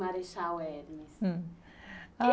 Marechal Hermes. Ãh,